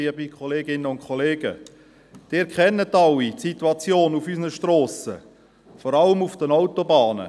Sie kennen alle die Situation auf unseren Strassen, vor allem auf den Autobahnen.